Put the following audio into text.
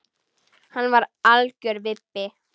Hann er algjör vibbi.